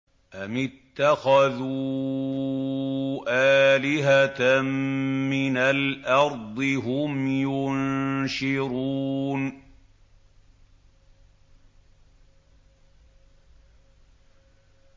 أَمِ اتَّخَذُوا آلِهَةً مِّنَ الْأَرْضِ هُمْ يُنشِرُونَ